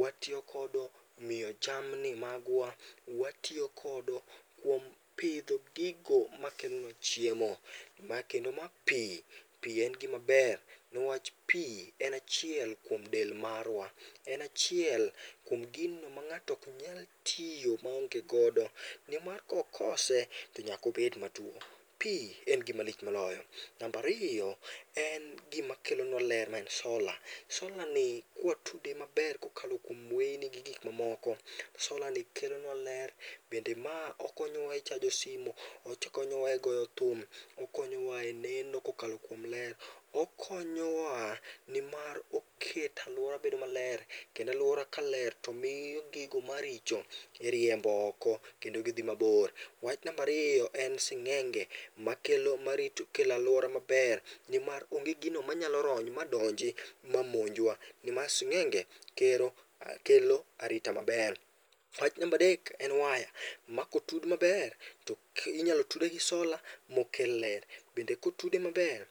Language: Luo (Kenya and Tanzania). watiyo godo e miyo jamni magwa. Watiyo godo kuom pidho gigo makelo chiemo kendo ma pi, pi en gima ber niwach pi en achiel kuom del marwa. En achiel kuom gino ma ng'ato ok nyal tiyo maonge godo. Nimar kokose to nyaka obed matuo. Pi en gima lich moloyo. Namba ariyo en gima kelonua ler en sola. Solani ka watude maber kokalo kuom weyni gi gik mamoko, solani kelonua ler bende ma okonyowa e chajo simu, okonyowa egoyo thum, okonyowa e neno kokalo kuom ler. Okonyowa nimar oketo aluora bedo maler. Kendo aluora kaler to miyo gigo maricho iriembo oko, kendo gidhi mabor. Wach namba ariyo, en sing'enge makelo marito oketo aluora maber nimar onge gino manyalo rony, madonji mamonjwa. Nimar sing'enge gero kelo arita maber. Wach namba adek , en waya makotud maber, inyalo tude gi sola mokel ler. Bende kotude maber